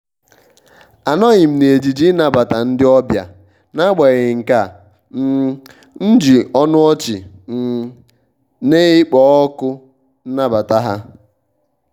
anọghị m n'ejiji ịnabata ndị ọbịa n'agbanyeghị nkea um m ji ọnụ ọchị um na-ekpo ọkụ nabata ha.